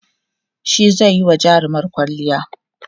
shi zaiyi wa jarumar kwalliya